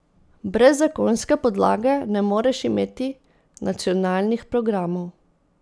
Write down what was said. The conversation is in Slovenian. Brez zakonske podlage ne moreš imeti nacionalnih programov.